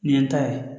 Nin ye n ta ye